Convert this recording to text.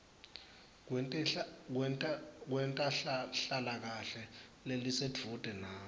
kwetenhlalakahle lelisedvute nawe